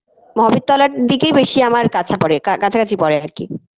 মহাবীর তলার দিকেই বেশি আমার কাছা পরে কাছাকাছি পরে আর কি